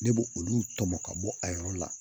Ne b'o olu tɔmɔ ka bɔ a yɔrɔ la